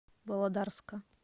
володарска